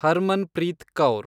Harmanpreet Kaur